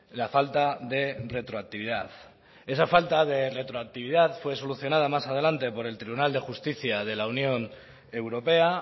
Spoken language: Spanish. la falta de retroactividad esa falta de retroactividad fue solucionada más adelante por el tribunal de justicia de la unión europea